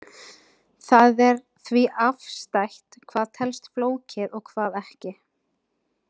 Það er því afstætt hvað telst flókið og hvað ekki.